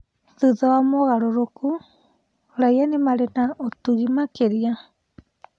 "Thutha wa mogarũrũku ,raia nĩ marĩ na na ũtugi makĩra